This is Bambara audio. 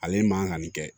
Ale man kan ka nin kɛ